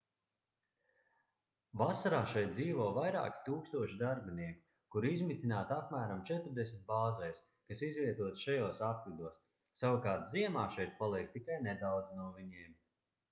vasarā šeit dzīvo vairāki tūkstoši darbinieku kuri izmitināti apmēram četrdesmit bāzēs kas izvietotas šajos apvidos savukārt ziemā šeit paliek tikai nedaudzi no viņiem